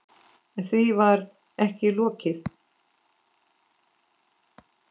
En því var ekki lokið.